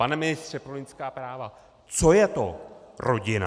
Pane ministře pro lidská práva, co je to rodina?